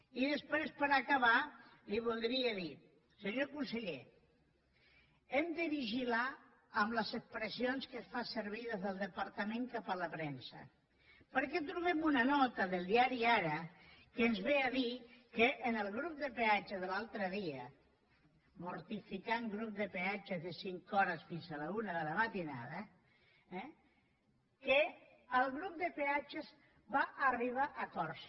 i després per acabar li voldria dir senyor conseller hem de vigilar amb les expressions que es fan servir des del departament cap a la premsa perquè trobem una nota del diari ara que ens ve a dir que el grup de peatges de l’altre dia mortificat grup de peatges de cinc hores fins a la una de la matinada va arribar a acords